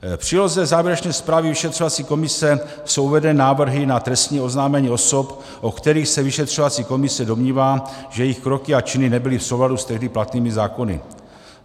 V příloze závěrečné zprávy vyšetřovací komise jsou uvedeny návrhy na trestní oznámení osob, o kterých se vyšetřovací komise domnívá, že jejich kroky a činy nebyly v souladu s tehdy platnými zákony.